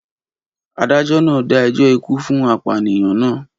Adájọ́ náà dá ẹjọ́ ikú fún apànìyàn náà